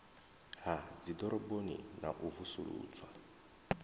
ha dziḓoroboni na u vusuludzwa